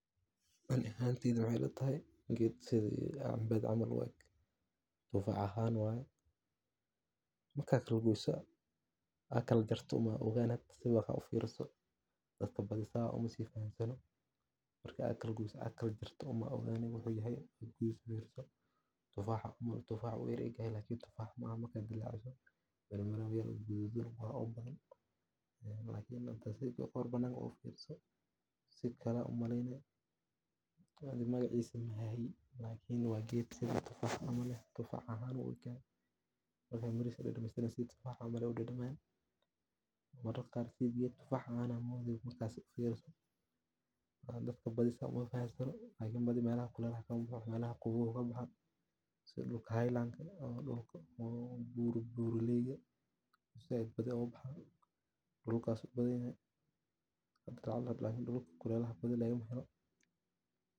Ani ahanteyda waxey ila tahay gedkan camal waye biyo nadiif ah, iyo jawi daggan oo u roon koritaanka bulshada. Waxaa ka mid ah tallaabooyinka lagu ilaaliyo deegaanka: ka hortagga nabaad-guurka, jarista aan xadidnayn ee dhirta, daadinta qashinka si aan habboonayn, iyo isticmaalka sunta beeralayda oo aan lala socon.